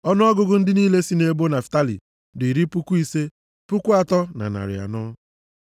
Ọnụọgụgụ ndị niile sị nʼebo Naftalị dị iri puku ise, puku atọ na narị anọ (53,400).